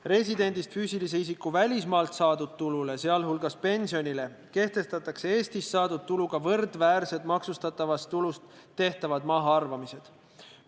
Residendist füüsilise isiku välismaalt saadud tulule, sh pensionile, kehtestatakse Eestis saadud tuluga võrdväärsed maksustavast tulust tehtavad mahaarvamised.